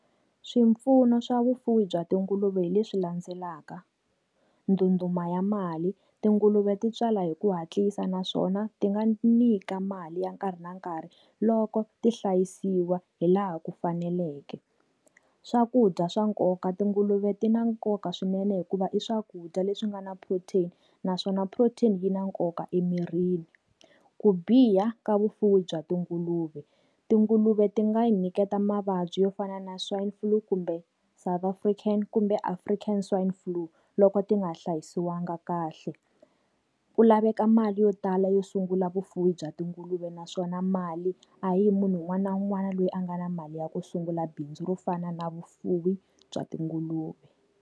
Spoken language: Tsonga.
Swipfuno swa vufuwi bya tinguluve hileswi landzelaka, ndundumba ya mali, tinguluve ti tswala hi ku hatlisa naswona ti nga nyika mali ya nkarhi na nkarhi loko ti hlayisiwa hi laha ku faneleke. Swakudya swa nkoka, tinguluve ti na nkoka swinene hikuva i swakudya leswi nga na protein naswona protein yi na nkoka emirini. Ku biha ka vufuwi bya tinguluve, tinguluve ti nga yi nyiketa mavabyi yo fana na swine flue kumbe South African kumbe African swine flue, loko ti nga hlayisiwanga kahle. Ku laveka mali yo tala yo sungula vufuwi bya tinguluve naswona mali a hi munhu un'wana na un'wana loyi a nga na mali ya ku sungula bindzu ro fana na vufuwi bya tinguluve.